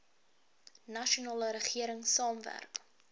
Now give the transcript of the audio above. nasionale regering saamwerk